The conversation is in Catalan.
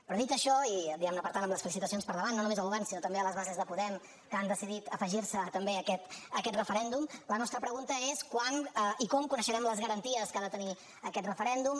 però dit això i diguem ne per tant amb les felicitacions per davant no només al govern sinó també a les bases de podem que han decidit afegir se també a aquest referèndum la nostra pregunta és quan i com coneixerem les garanties que ha de tenir aquest referèndum